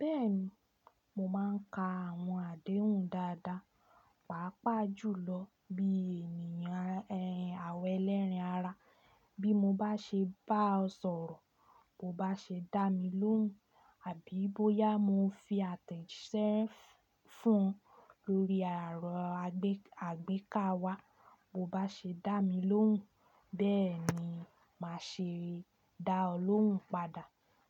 Bẹ́ẹ̀ni, mo máà ń ka àwọn àdéhùn dáadáa, pàápàá jùlọ bí ènìyàn àwa ẹlẹ́ran ara. Bí mo bá ṣe bá ọ sọ̀rọ̀, bo bá ṣe dá mi lóhùn àbí bóyá mo fi atejise fún ọ lórí ẹ̀rọ agbéka wa, bo bá ṣe dá mi lóhùn, bẹ́ẹ̀ni máa ṣe dá ọ lóhùn padà.